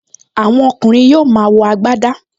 Àwọn ọkùnrin yóò máa wọ agbadá